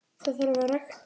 Það þarf að rækta.